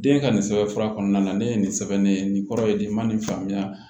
Den ka nin sɛbɛn fura kɔnɔna na ne ye nin sɛbɛn ne ye nin kɔrɔ ye di n ma nin faamuya